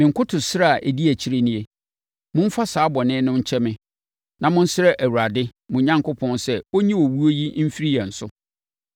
Me nkotosrɛ a ɛdi akyire nie; momfa saa bɔne no nkyɛ me na monsrɛ Awurade mo Onyankopɔn sɛ ɔnyi owuo yi mfiri yɛn so.”